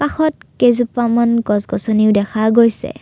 কাষত কেইজোপামান গছ গছনিও দেখা গৈছে।